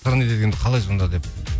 сыры неде дегенді қалай сонда деп